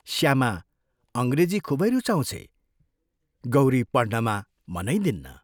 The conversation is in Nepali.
श्यामा अंग्रेजी खूबै रुचाउँछे गौरी पढ्नमा मनै दिन्न।